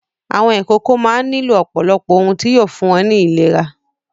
Àwọn ìkókó máa ń nílò ọ̀pọ̀lọpọ̀ ohun tí yóò fún wọn ní ìlera.